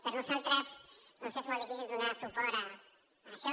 per nosaltres doncs és molt difícil donar suport a això